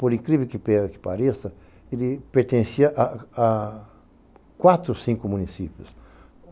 por incrível que pareça, ele pertencia a quatro, cinco municípios.